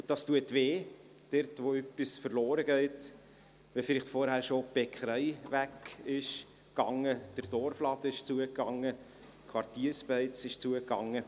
Wenn etwas verloren geht, tut das weh – nachdem vielleicht vorher schon die Bäckerei wegging, der Dorfladen schloss, die Quartierbeiz schloss.